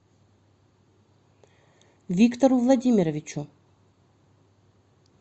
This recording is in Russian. виктору владимировичу